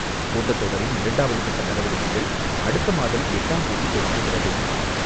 கூட்டத்தொடரின் இரண்டாவதுகட்டநடவடிக்கைகள் அடுத்தமாதம் எட்டாம் தேதிதொடங்குகிறது.